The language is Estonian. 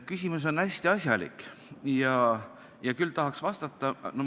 Küsimus on hästi asjalik ja küll tahaks vastata.